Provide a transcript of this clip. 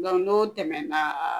Nka n'o tɛmɛna